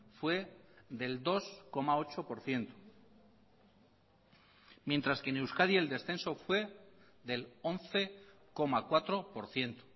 fue del dos coma ocho por ciento mientras que en euskadi el descenso fue del once coma cuatro por ciento